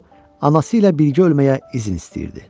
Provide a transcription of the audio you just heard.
O anası ilə birgə ölməyə izin istəyirdi.